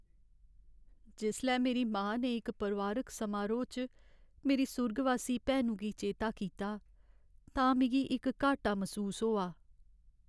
जिसलै मेरी मां ने इक परोआरिक समारोह् च मेरी सुर्गवासी भैनु गी चेता कीता तां मिगी इक घाट्टा मसूस होआ।